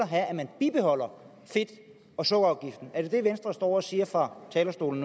have at man bibeholder fedt og sukkerafgiften er det det venstre står og siger fra talerstolen